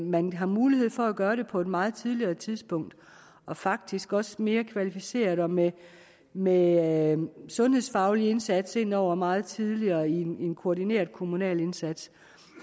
man har mulighed for at gøre det på et meget tidligere tidspunkt og faktisk også mere kvalificeret og med med en sundhedsfaglig indsats ind over meget tidligere i en en koordineret kommunal indsats